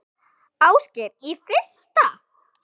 Ásgeir: Í fyrsta?